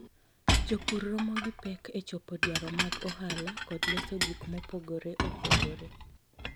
Jopur romo gi pek e chopo dwaro mag ohala kod loso gik mopogore opogore.